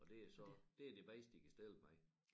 Og det er så det er det bedste de kan stille med